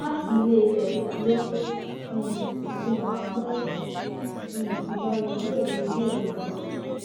láti iléfẹ ló um ti hàn wá pé um ìgbà rẹ yóò le díẹ o jàre